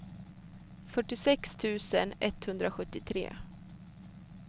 fyrtiosex tusen etthundrasjuttiotre